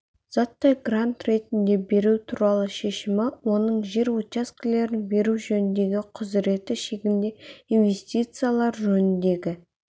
заттай грант ретінде беру туралы шешімі оның жер учаскелерін беру жөніндегі құзыреті шегінде инвестициялар жөніндегі